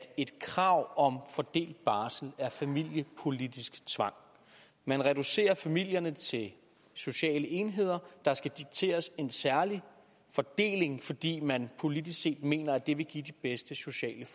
et krav om fordelt barsel er familiepolitisk tvang man reducerer familierne til sociale enheder der skal dikteres en særlig fordeling fordi man politisk set mener at det vil give de bedste sociale